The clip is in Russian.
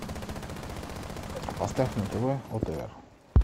поставь на тв отр